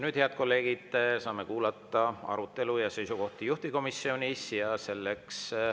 Nüüd, head kolleegid, saame kuulata arutelu ja seisukohti juhtivkomisjonis.